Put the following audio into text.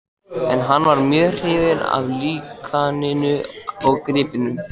En hann var mjög hrifinn af líkaninu og gripnum.